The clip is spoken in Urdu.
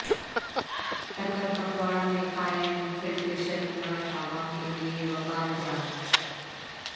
ٹکر کپواڑہ میں قائم فلٹریشن پلانٹ عوام کیلئے وبال جان